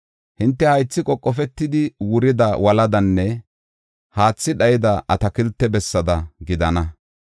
Hinte haythi qoqofetidi wurida woladanne haathi dhayida atakilte bessada gidana.